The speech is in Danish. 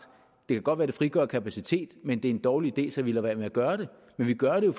det kan godt være det frigør kapacitet men det er en dårlig idé så vi lader være med at gøre det men vi gør det